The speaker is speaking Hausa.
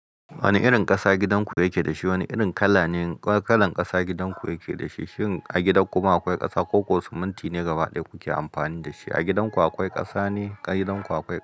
Wane irin ƙasa gidanku yake da shi? Wane irin kala ne kalar ƙasa gidanku yake da shi? Shin a gidan kuma akwai ƙasa ko ko siminti ne gaba ɗaya kuke amfani da shi? A gidan ku akwai ƙasa ne? A gidan ku akwai ƙasa.